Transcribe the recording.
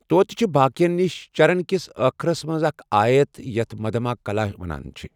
توتہِ چھِ باقیَن نِش چرن کِس أخرَس منٛز اکھ آیت یتھ مدھماکلا وَنان چھِ۔